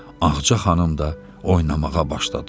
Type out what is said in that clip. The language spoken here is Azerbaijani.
Ağacə xanım da oynamağa başladı.